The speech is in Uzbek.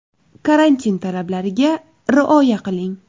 Karantin talablariga rioya qiling.